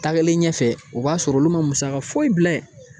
Tagalen ɲɛfɛ o b'a sɔrɔ olu ma musaka foyi bila